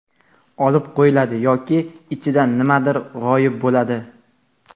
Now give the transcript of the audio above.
Olib qochiladi yoki ichidan nimadir g‘oyib bo‘ladi!.